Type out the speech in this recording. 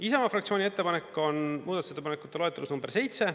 Isamaa fraktsiooni ettepanek on muudatusettepanekute loetelus nr 7.